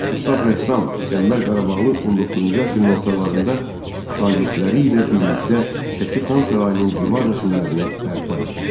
Ustad rəssam Qəmbər Qarabağlı 19-cu əsrin ortalarında şagirdləri ilə birlikdə Şəki Xan sarayının divar rəsmlərini bərpa etmişdi.